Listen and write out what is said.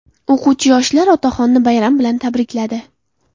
O‘quvchi-yoshlar otaxonni bayram bilan tabrikladi.